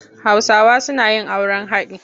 Hausawa suna yin auren haɗi.